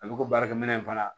A bɛ ko baarakɛ minɛn in fana